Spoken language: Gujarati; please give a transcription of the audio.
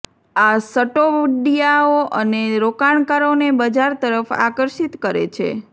આ સટોડિયાઓ અને રોકાણકારોને બજાર તરફ આકર્ષિત કરે છે